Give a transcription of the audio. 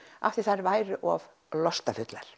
af því að þær væru of